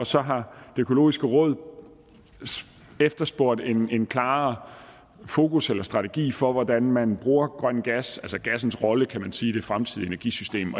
så har det økologiske råd efterspurgt en klarere fokus eller strategi for hvordan man bruger grøn gas altså gassens rolle kan man sige i det fremtidige energisystem